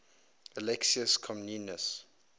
alexius comnenus